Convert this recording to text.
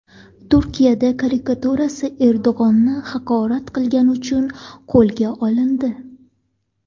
Turkiyada karikaturachi Erdo‘g‘onni haqorat qilgani uchun qo‘lga olindi.